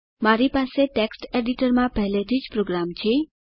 મારી પાસે ટેક્સ્ટ એડિટરમાં પહેલેથી જ પ્રોગ્રામ છે